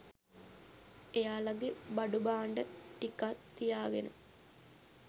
එයාලගෙ බඩුභාණ්ඩ ටිකත් තියාගෙන